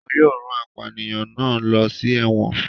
Wọn yóò rán apànìyàn náà lọ sí ẹ̀wọ̀n.